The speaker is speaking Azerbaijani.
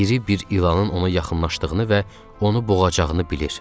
İri bir ilanın ona yaxınlaşdığını və onu boğacağını bilir.